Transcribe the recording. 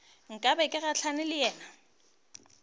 nka be ke gahlane le